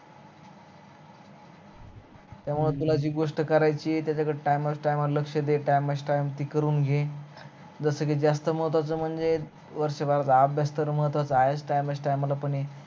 जस कि जास्त महत्वाचं म्हणजे वर्षभर चा अभ्यास तर महत्वाचं आहे time, time ला पण आहे